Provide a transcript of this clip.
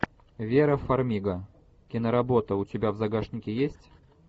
вера фармига киноработа у тебя в загашнике есть